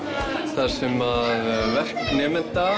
þar sem að verk nemenda